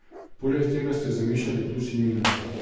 Poleg tega ste zamešali plus in minus.